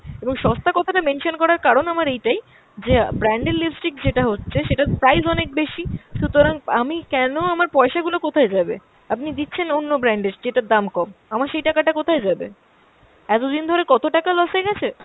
এবং সস্তা কথাটা mention করার কারণ আমার এইটাই যে brand এর lipstick যেটা হচ্ছে সেটার price অনেক বেশি, সুতরাং আমি কেনো আমার পয়সা গুলো কোথায় যাবে? আপনি দিচ্ছেন অন্য brand এর যেটার দাম কম। আমার সেই টাকাটা কোথায় যাবে? এতদিন ধরে কত টাকা loss হয়ে গেছে।